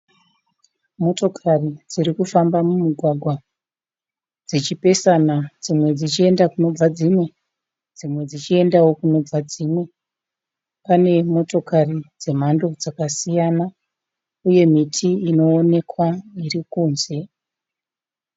Motokari dzirikufamba mumugwagwa dzichipesana dzimwe dzichienda kunobva dzimwe. Dzimwe dzichiendao kunobva dzimwe. Pane motokari dzemhando dzakasiyana uye miti inoonekwa iri kunze.